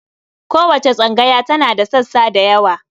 Kowace tsangaya tana da sassa da yawa.